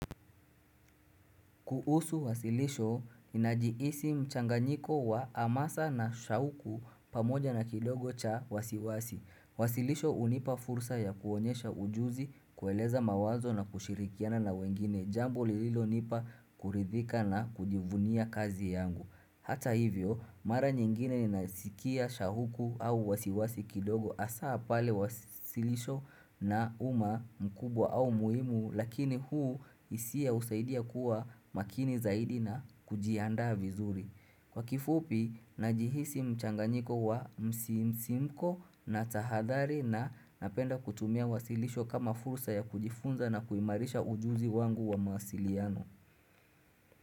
Kuusu wasilisho, inajiisi mchanganyiko wa amasa na shahuku pamoja na kidogo cha wasiwasi. Wasilisho unipa fursa ya kuonyesha ujuzi, kueleza mawazo na kushirikiana na wengine, jambo lililo nipa kuridhika na kujivunia kazi yangu. Hata hivyo, mara nyingine ni nasikia shahuku au wasiwasi kidogo asaa pale wasilisho na uma mkubwa au muimu lakini huu isia usaidia kuwa makini zaidi na kujiandaa vizuri. Kwa kifupi, najihisi mchanganyiko wa msisimko na tahadhari na napenda kutumia wasilisho kama fursa ya kujifunza na kuimarisha ujuzi wangu wa masiliano.